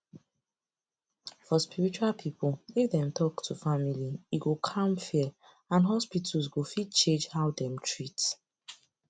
for spiritual people if dem talk to family e go calm fear and hospitals go fit change how dem treat